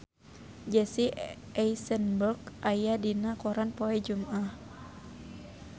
Jesse Eisenberg aya dina koran poe Jumaah